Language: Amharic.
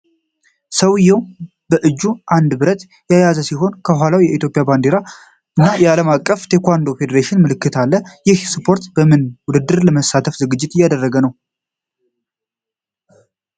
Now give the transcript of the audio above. ሰውዬው በአንድ እጁ ብረት የያዘ ሲሆን፣ ከኋላው የኢትዮጵያ ባንዲራ እና የዓለም አቀፉ ታይኮንዶ ፌዴሬሽን ምልክት አለ። ይህ ስፖርተኛ በምን ውድድር ለመሳተፍ ዝግጅት እያደረገ ነው?